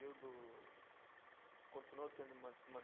continuou tendo